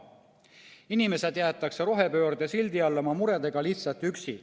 Inimesed jäetakse rohepöörde sildi all oma muredega üksi.